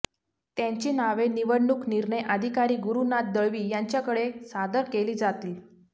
त्यांची नावे निवडणूक निर्णय अधिकारी गुरुनाथ दळवी यांच्याकडे सादर केली जातील